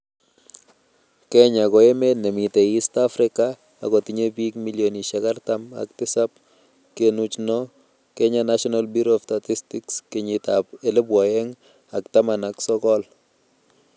Kenya ko emet nemitei East Africa akotinyei biik milionishek artam ak tisab kenuch lo -Kenya National Bureau of Statistics kenyitab elebu oeng ak taman ak sokol